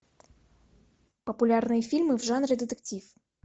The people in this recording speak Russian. популярные фильмы в жанре детектив